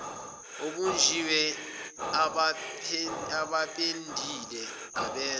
obunjiwe abapendile abenze